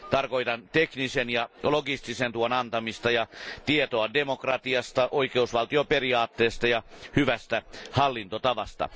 Tarkoitan teknisen ja logistisen tuen antamista ja tietoa demokratiasta, oikeusvaltioperiaatteesta ja hyvästä hallintotavasta.